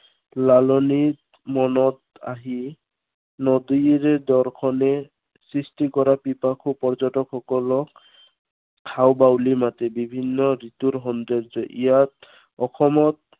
লালনিৰ মনত আহি নদীৰ দৰ্শনে সৃষ্টি কৰা পিপাসু পৰ্যটকসকলক হাতবাউলি দি মাতে। বিভিন্ন ঋতুৰ সৌন্দৰ্যই। ইয়াত অসমত